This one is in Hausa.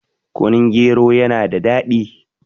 kunun gero yana da daɗi